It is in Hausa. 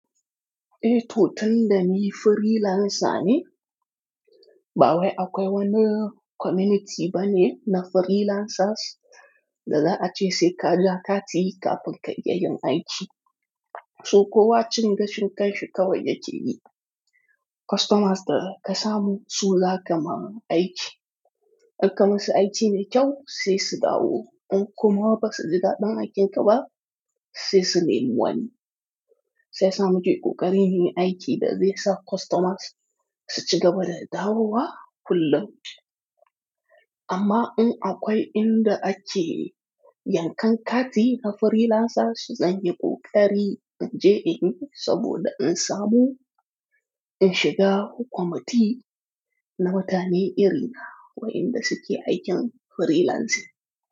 Eh, to tunda ni freelancer ne. Ba wai akwai wani, community bane na freelancers, da za a ce sai ka ja kati kafin ka iya yin aiki. To, kowa cin gashin kanshi kawai ya ke yi. Customers da ka samu, su za ka ma aiki. In ka musu aiki mai kyau, sai su dawo. In kuma ba su ji daɗin aikin ka ba, sai su nemi wani. Shi yasa muke ƙoƙarin muy aiki da zai sa customers, su cigaba da dawowa kullum. Amma un akwai inda ake, yankan kati na freelancers zanyi ƙoƙari in je in yi, saboda in samu, in shiga committee, na mutane iri na wa inda suke aikin freelancing.